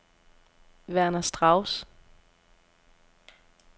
Werner Strauss